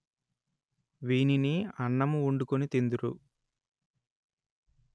వీనిని అన్నము వండుకొని తిందురు